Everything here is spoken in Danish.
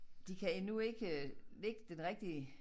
De kan endnu ikke øh lægge den rigtige